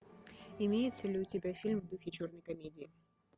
имеется ли у тебя фильм в духе черной комедии